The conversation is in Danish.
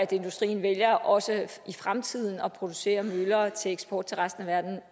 industrien vælger også i fremtiden at producere møller til eksport til resten af verden